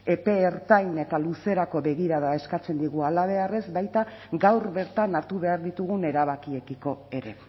epe ertain eta luzerako begirada eskatzen digu halabeharrez baita gaur bertan hartu behar ditugun erabakiekiko ere